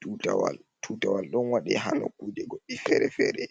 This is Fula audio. Tutawal, tutawal ɗon waɗe ha nokuje goɗɗi fere-fere,